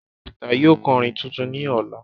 shina Peter yóò ko orin tuntun ní Ọla